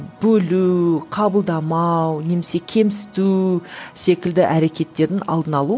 бөлу қабылдамау немесе кемсіту секілді әрекеттердің алдын алу